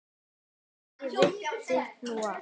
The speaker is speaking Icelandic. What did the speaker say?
Ekki veitti nú af.